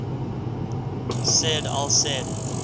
said al said